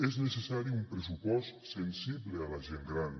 és necessari un pressupost sensible a la gent gran